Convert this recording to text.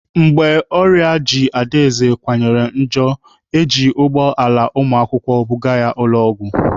Mgbe ọrịa ji Adaeze kawanyere njọ, eji ụgbọ ala ụmụakwụkwọ buga ya ụlọ ọgwụ.